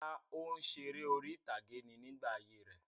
Rárá, òǹsèré orí-ìtàgé ni nígbà ayé rẹ̀.